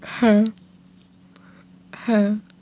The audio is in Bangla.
হ্যাঁ হ্যাঁ